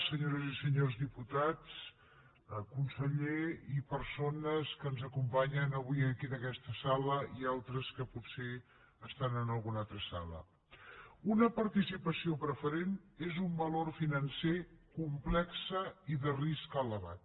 senyores i senyors diputats conseller i persones que ens acompanyen avui aquí en aquesta sala i altres que potser estan en alguna altra sala una participació preferent és un valor financer complex i de risc elevat